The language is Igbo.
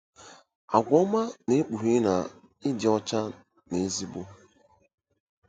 Àgwà ọma Na-ekpughe na Ị Dị Ọcha n'Ezigbo